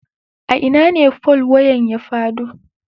A ina ne fol wayan ya fado.